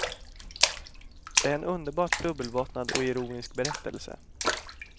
Det är en underbart dubbelbottnad och ironisk berättelse.